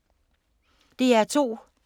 DR2